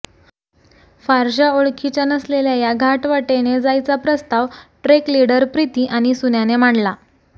फारशा ओळखीच्या नसलेल्या या घाटवाटेने जायचा प्रस्ताव ट्रेकलिडर प्रिती आणि सुन्याने मांडला